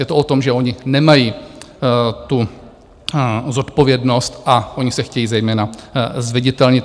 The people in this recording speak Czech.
Je to o tom, že oni nemají tu zodpovědnost a oni se chtějí zejména zviditelnit.